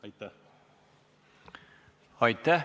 Aitäh!